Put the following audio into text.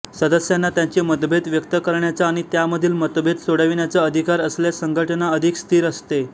सदस्यांना त्यांचे मतभेद व्यक्त करण्याचा आणि त्यामधील मतभेद सोडविण्याचा अधिकार असल्यास संघटना अधिक स्थिर असते